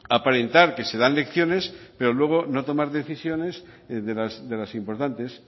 aparentar que se dan lecciones pero luego no tomar decisiones de las importantes